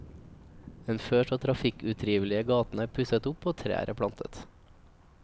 Den før så trafikkutrivelige gaten er pusset opp, og trær er plantet.